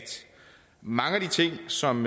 mange af de ting som